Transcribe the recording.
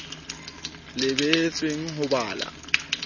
le behetsweng ho ba la